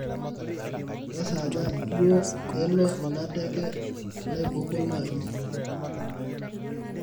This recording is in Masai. kesaaja duo elo ina teke naibukoo naji